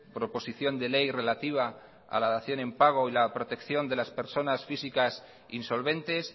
proposición de ley relativa a la dación en pago y la protección de las personas físicas insolventes